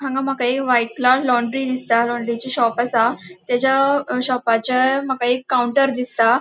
हांगा मका एक व्हाइट लॉन्ड्री दिसता लॉन्ड्रीचे शॉप आसा तेजा शोपाचे माका एक काउन्टर दिसता.